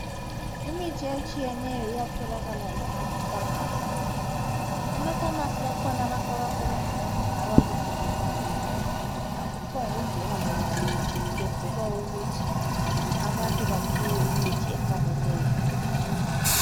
Imithi etshiyeneyo iyatholakala ema"pharmarcy".Ema "pharmacy " kulabantu abasebenza khona abakufundelayo, akuphongungena loba ngubani. Kuyenzelwa ukuthi abantu baphiwe imithi efaneleyo.